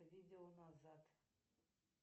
видео назад